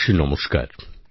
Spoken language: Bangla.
আমার প্রিয় দেশবাসী নমস্কার